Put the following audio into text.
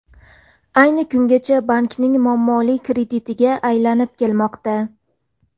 Ayni kungacha bankning muammoli kreditiga aylanib kelmoqda.